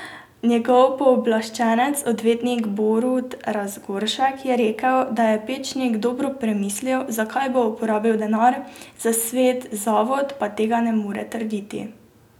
Njegov pooblaščenec, odvetnik Borut Razgoršek, je rekel, da je Pečnik dobro premislil, za kaj bo porabil denar, za svet zavod pa tega ne more trditi.